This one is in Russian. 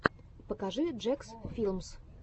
покажи джекс филмс